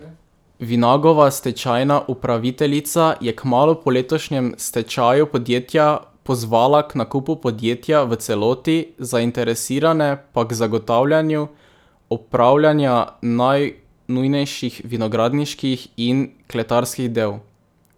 Vinagova stečajna upraviteljica je kmalu po letošnjem stečaju podjetja pozvala k nakupu podjetja v celoti, zainteresirane pa k zagotavljanju opravljanja najnujnejših vinogradniških in kletarskih del.